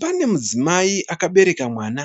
Pane mudzimai akabereka mwana